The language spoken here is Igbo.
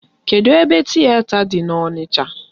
Kedụ ebe tiyeta dị n'Onicha?